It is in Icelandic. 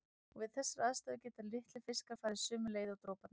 Og við þessar aðstæður geta litlir fiskar farið sömu leið og droparnir.